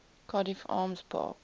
cardiff arms park